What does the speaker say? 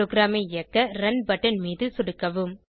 ப்ரோகிராமை இயக்க run button மீது சொடுக்கவும்